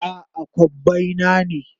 A'a, kobbai na ne.